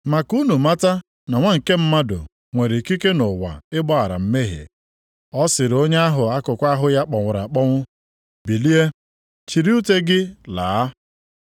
Ma ka unu mata na Nwa nke Mmadụ nwere ikike nʼụwa ịgbaghara mmehie.” Ọ sịrị onye ahụ akụkụ ahụ ya kpọnwụrụ akpọnwụ, “Bilie, chịrị ute gị laa!”